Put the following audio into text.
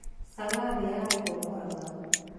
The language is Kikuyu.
changaa nĩyaregũo mũrang'a.